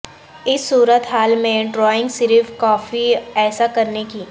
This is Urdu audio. اس صورت حال میں ڈرائنگ صرف کافی ایسا کرنے کی